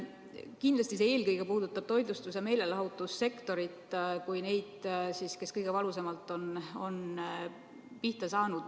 Kindlasti see eelkõige puudutab toitlustus- ja meelelahutussektorit, nemad on kõige valusamalt pihta saanud.